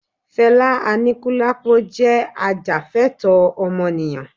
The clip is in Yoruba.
Felá Anikulapo jẹ́ ajàfẹ́tọ̀ọ́ ọmọnìyàn